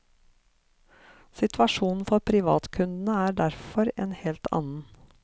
Situasjonen for privatkundene er derfor en helt annen.